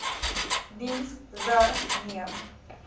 diens the neem